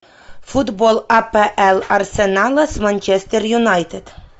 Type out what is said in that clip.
футбол апл арсенала с манчестер юнайтед